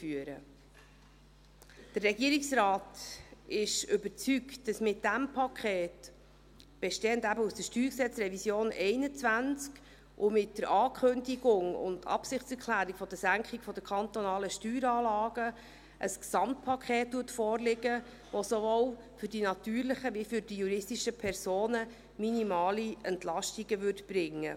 Der Regierungsrat ist überzeugt, dass mit diesem Paket, bestehend eben aus der StG-Revision 2021, und mit der Ankündigung und Absichtserklärung der Senkung der kantonalen Steueranlagen ein Gesamtpaket vorliegt, das sowohl für die natürlichen als auch für die juristischen Personen minimale Entlastungen brächte.